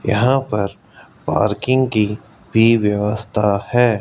यहां पर पार्किंग की भी व्यवस्था है।